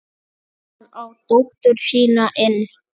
Kallar á dóttur sína inn.